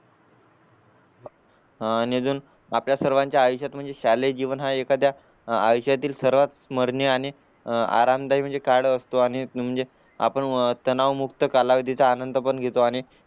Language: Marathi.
आणि आजून आपल्या सर्वांच्या आयुष्यात म्हणजे शालेय जीवनात एखाद्या आयुष्यातील सर्वात स्मरणीय आणि आरामदायी काळ असतो आणि म्हणजे आपण तेनावत मुक्त कालावधी चा आनंद पण घेतो